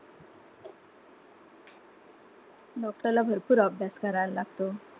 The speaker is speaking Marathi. Doctor ला भरपूर अभ्यास करायला लागतो.